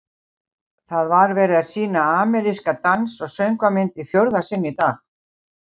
Það var verið að sýna ameríska dans- og söngvamynd í fjórða sinn í dag.